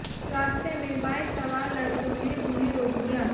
रास्ते में बाइक सवार लड़कों ने उन्हें रोक लिया